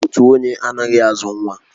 Otu onye anaghị azụ nwa